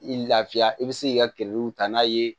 I lafiya i bi se k'i ka ta n'a ye